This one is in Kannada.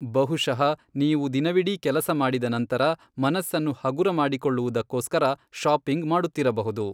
ಬಹುಶಃ ನೀವು ದಿನವಿಡೀ ಕೆಲಸಮಾಡಿದ ನಂತರ ಮನಸ್ಸನ್ನು ಹಗುರಮಾಡಿಕೊಳ್ಳುವುದಕ್ಕೋಸ್ಕರ ಶಾಪಿಂಗ್ ಮಾಡುತ್ತಿರಬಹುದು.